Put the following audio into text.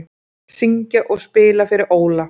Syngja og spila fyrir Óla